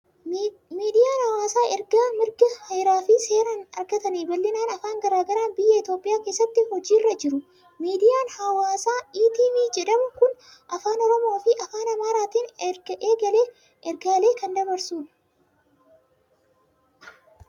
Miidiyaan hawaasaa erga mirga Heeraa fi seeraan argatanii bal'inaan afaan garaa garaan biyya Itoophiyaa keessatti hojjechaa jiru. Miidiyaan hawaasaa ETV jedhamu kun afaan Oromoo fi afaan Amaaraatiin ergaalee kan dabarsudha.